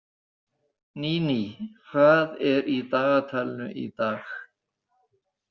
Níní, hvað er í dagatalinu í dag?